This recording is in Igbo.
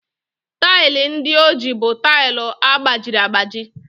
Taịlị ndị o ji bụ tile gbajiri agbaji.